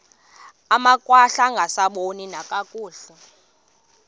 amakhwahla angasaboni nakakuhle